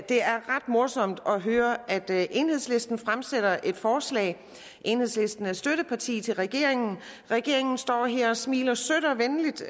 er ret morsomt at høre at enhedslisten fremsætter et forslag enhedslisten er støtteparti til regeringen regeringen står her og smiler sødt og venligt